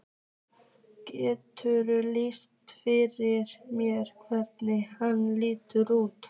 Geturðu lýst því fyrir mér hvernig hann lítur út?